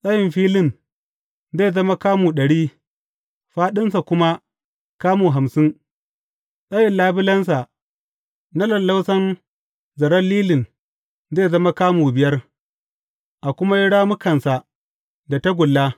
Tsayin filin zai zama kamu ɗari, fāɗinsa kuma kamu hamsin, tsayin labulensa na lallausan zaren lilin zai zama kamu biyar, a kuma yi rammukansa da tagulla.